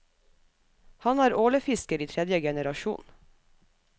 Han er ålefisker i tredje generasjon.